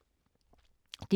DR K